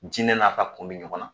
Jinɛ n'a ka kun bi ɲɔgɔn na